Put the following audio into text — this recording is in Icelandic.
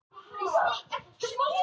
Svanberg, hvað er í matinn á mánudaginn?